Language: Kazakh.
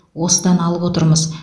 осыдан алып отырмыз